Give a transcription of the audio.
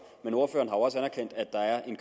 men ordføreren har jo også anerkendt at der er en